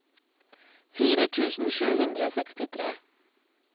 fire tusen sju hundre og sekstitre